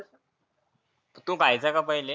तु खायचा का पहिले?